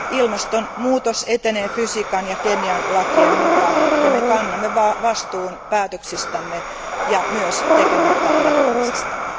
Ilmastonmuutos etenee fysiikan ja kemian lakien mukaan, ja me kannamme vastuun päätöksistämme ja myös tekemättä jättämisistämme.